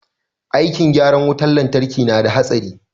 Aikin gyaran wutan lantraki na da hatsari